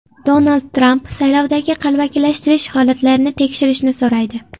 Donald Tramp saylovdagi qalbakilashtirish holatlarini tekshirishni so‘raydi.